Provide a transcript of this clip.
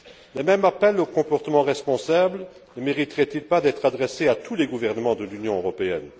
Le même appel au comportement responsable ne mériterait il pas d'être adressé à tous les gouvernements de l'Union européenne?